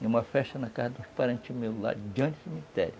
E uma festa na casa dos parentes meus, lá diante do cemitério.